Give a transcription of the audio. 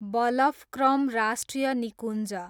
बलफक्रम राष्ट्रिय निकुञ्ज